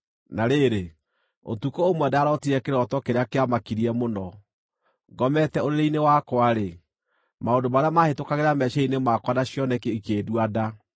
Na rĩrĩ, ũtukũ ũmwe ndarootire kĩroto kĩrĩa kĩamakirie mũno. Ngomete ũrĩrĩ-inĩ wakwa-rĩ, maũndũ marĩa mahĩtũkagĩra meciiria-inĩ makwa na cioneki ikĩndua nda.